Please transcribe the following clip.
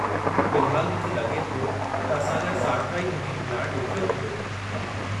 फ़िलहाल, मूंखे लॻे थो त असां लाइ साठिराई मुहिम हलाइणु ॾुखियो थींदो।